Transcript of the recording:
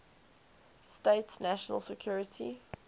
states national security